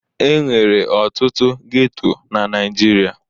Enwere ọtụtụ geto na Naijiria.